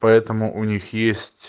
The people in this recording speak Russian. поэтому у них есть